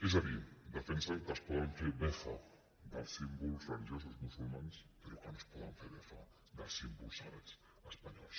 és a dir defensen que es pot fer befa dels símbols religiosos musulmans però que no es pot fer befa dels símbols sagrats espanyols